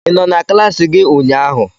Ị nọ na klassi gị ụnyaahụ?